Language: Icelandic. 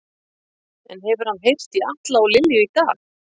En hefur hann heyrt í Atla og Lilju í dag?